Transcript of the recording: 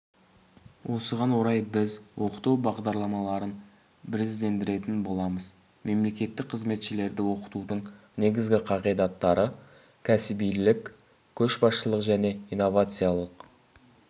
осыған орай біз оқыту бағдарламаларын біріздендіретін боламыз мемлекеттік қызметшілерді оқытудың негізгі қағидаттары кәсібилік көшбасшылық және инновациялылық